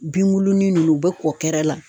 Binbuluni ninnu u bɛ kɔkɛrɛ la.